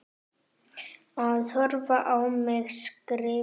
Það horfir á mig skrifa.